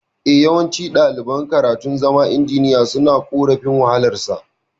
Eh, yawanci ɗaliban karatun zama injiniya suna korafin wahalar sa